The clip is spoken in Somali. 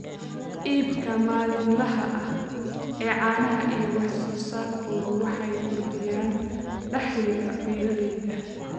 iibka maalinlaha ah ee caanaha iyo wax soo saarkoodu waxay kordhiyaan dakhliga beeralayda.